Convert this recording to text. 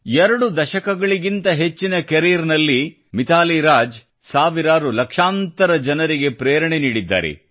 ಎರಡು ದಶಕಗಳಿಗಿಂತ ಹೆಚ್ಚಿನ ಕರಿಯರ್ ನಲ್ಲಿ ಮಿತಾಲಿ ರಾಜ್ ಸಾವಿರಾರುಲಕ್ಷಾಂತರ ಜನರಿಗೆ ಪ್ರೇರಣೆ ನೀಡಿದ್ದಾರೆ